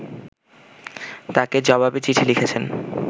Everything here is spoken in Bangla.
তাঁকে জবাবি চিঠি লিখেছেন